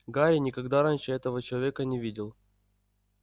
гарри никогда раньше этого человека не видел